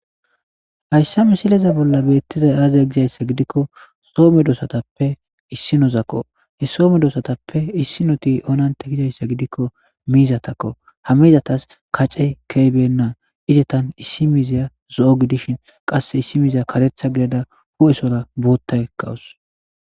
Hayssa misileza bolla beeththizay aazee gizayssa gidikko so medoosathappe issinozako; so medosathappe issinothi gizayssa gidikko miizathakkoo; ha miizathas kacee keyibeenna; izethan issi miizziya zo7o giddishin qassi issi miizziya kareththa gidada huu7esora booththaykka des.